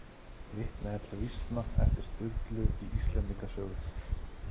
Vitnað er til vísna eftir Sturlu í Íslendinga sögu.